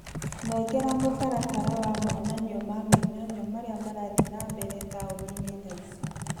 Nengera mũtaratara wa monanio ma mĩnyonyo marĩa marathiĩ na mbere taũni-inĩ thaa ici.